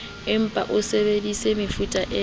empa o sebedisa mefuta le